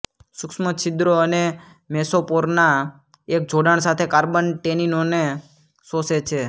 સૂક્ષ્મ છિદ્રો અને મેસોપોરના એક જોડાણ સાથે કાર્બન ટેનીનોને શોષે છે